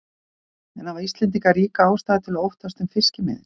En hafa Íslendingar ríka ástæðu til að óttast um fiskimiðin?